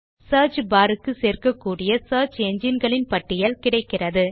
search bar க்கு சேர்க்கக்கூடிய search engine களின் பட்டியல் கிடைக்கிறது